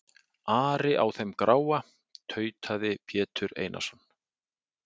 Ari á þeim gráa, tautaði Pétur Einarsson.